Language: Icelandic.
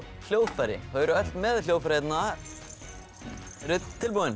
hljóðfæri þau eru öll með hljóðfæri hérna eruð þið tilbúin